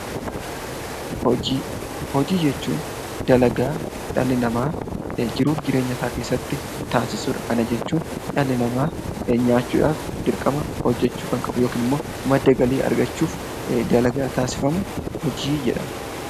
Hojii jechuun dalagaa dhalli namaa jiruu fi jireenya isaa keessatti taasisudha. Kana jechuun dhalli namaa nyaachuudhaaf dirqama hojjachuu kan qabu yoo ta'u yookiin immoo madda galiif dalagaa taasifamu hojii jedhama